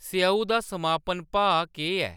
स्येऊ दा समापन भाऽ केह्‌‌ ऐ